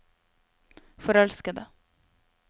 forelskede